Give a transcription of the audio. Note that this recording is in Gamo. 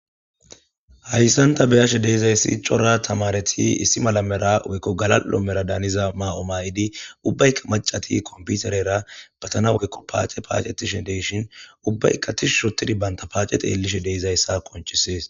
hayssanta beyashe deezayssi cora tamareti issi malamera weykko galal7o mera daaniza ma7o ma7idi ubbaykka macati komputerera patana woykko paace paacetishen deshin ubbaykka tishu shotidi banta paacet eelishe deezayssa konchisees